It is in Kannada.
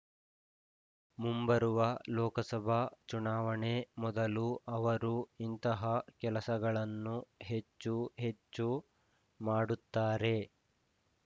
ಮುಂಬರುವ ಲೋಕಸಭಾ ಚುನಾವಣೆ ಮೊದಲು ಅವರು ಇಂತಹ ಕೆಲಸಗಳನ್ನು ಹೆಚ್ಚು ಹೆಚ್ಚು ಮಾಡುತ್ತಾರೆ